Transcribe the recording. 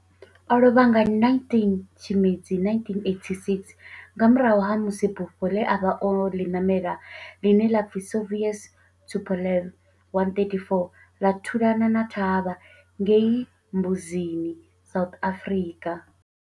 O lovha nga 19 Tshimedzi 1986 nga murahu ha musi bufho le a vha o li namela, line la pfi Soviet Tupolev 134 la thulana na thavha ngei Mbuzini, South Africa.